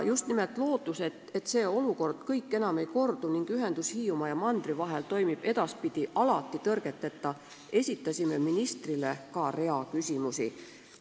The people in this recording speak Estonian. Just nimelt lootuses, et kogu see olukord enam ei kordu ning ühendus Hiiumaa ja mandri vahel toimib edaspidi alati tõrgeteta, esitasime ministrile hulga küsimusi.